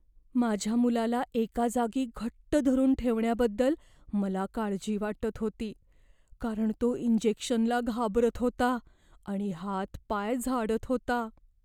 माझ्या मुलाला एका जागी घट्ट धरून ठेवण्याबद्दल मला काळजी वाटत होती, कारण तो इंजेक्शनला घाबरत होता आणि हातपाय झाडत होता.